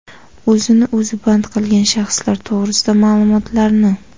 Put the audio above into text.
o‘zini o‘zi band qilgan shaxslar to‘g‘risida maʼlumotlarni;.